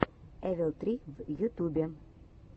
эвил три в ютубе